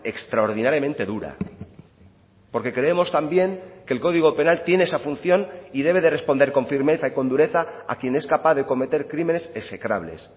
extraordinariamente dura porque creemos también que el código penal tiene esa función y debe de responder con firmeza y con dureza a quien es capaz de cometer crímenes execrables